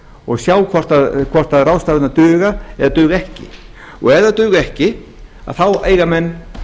og sjá hvort ráðstafanir duga eða duga ekki ef þær duga ekki þá eiga menn